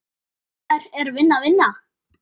Hvenær er vinna vinna?